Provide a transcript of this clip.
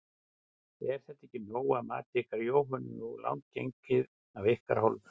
Er þetta nóg að mati ykkar Jóhönnu, nógu langt gengið af ykkar hálfu?